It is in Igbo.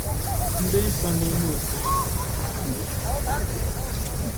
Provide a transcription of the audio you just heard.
Ndị nsọ n’ime òtù ahụ bụ ndị sonyere n’“ọgbụgbọ ọhụrụ.”